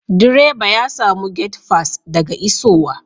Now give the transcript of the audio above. Direba ya samu gate fass daga isowa.